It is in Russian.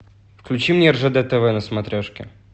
включи мне ржд тв на смотрешке